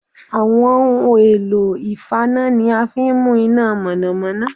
Àwọn ohun èlò ìfaná ni a fi n mú iná mọ̀nọ̀mọ́nọ́